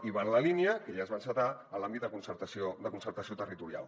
i va en la línia que ja es va encetar en l’àmbit de concertació territorial